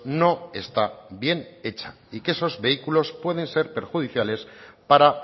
no está bien hecha y que esos vehículos pueden ser perjudiciales para